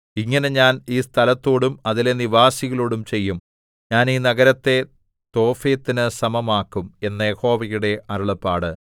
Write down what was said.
ഇങ്ങനെ ഞാൻ ഈ സ്ഥലത്തോടും അതിലെ നിവാസികളോടും ചെയ്യും ഞാൻ ഈ നഗരത്തെ തോഫെത്തിനു സമമാക്കും എന്ന് യഹോവയുടെ അരുളപ്പാട്